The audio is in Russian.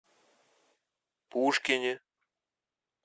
пушкине